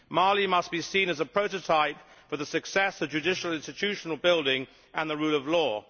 Mali must be seen as a prototype for the success of judicial institution building and the rule of law.